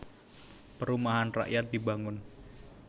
Perumahan rakyat dibangun